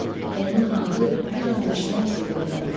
Onun adı bir an düşməz dilindən.